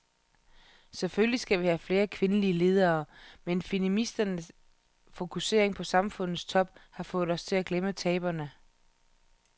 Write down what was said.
Selvfølgelig skal vi have flere kvindelige ledere, men feministernes fokusering på samfundets top har fået os til at glemme taberne.